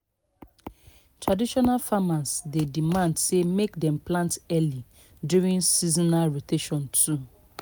traditional farmers dey demand say make dem plant early during seasonal rotation too.